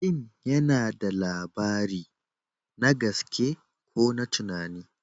Fim yana ba da labari, na gaske ko na tunani.